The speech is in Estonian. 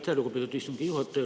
Aitäh, lugupeetud istungi juhataja!